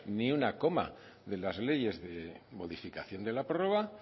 ni una coma de las leyes de modificación de la prórroga